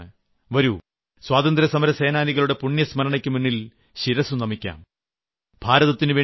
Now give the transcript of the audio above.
ഞാൻ നിങ്ങളെ ക്ഷണിക്കുകയാണ് വരൂ സ്വാതന്ത്ര്യസമരസേനാനികളുടെ പുണ്യസ്മരണക്കുമുന്നിൽ ശിരസു നമിക്കാം